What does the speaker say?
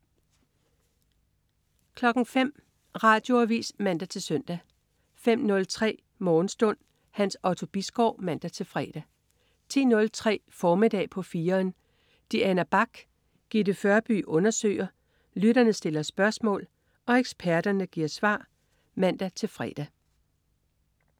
05.00 Radioavis (man-søn) 05.03 Morgenstund. Hans Otto Bisgaard (man-fre) 10.03 Formiddag på 4'eren. Diana Bach og Gitte Førby undersøger, lytterne stiller spørgsmål og eksperterne giver svar (man-fre)